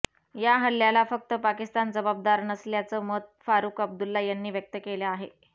या हल्ल्याला फक्त पाकिस्तान जबाबदार नसल्याचं मत फारुख अब्दुल्ला यांनी व्यक्त केलं आहे